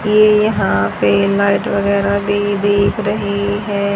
ये यहां पे लाइट वगैरा भी दिख रही है।